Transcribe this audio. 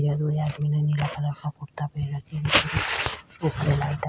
कुर्ता पहरा --